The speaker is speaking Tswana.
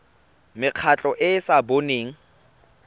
mekgatlho e e sa boneng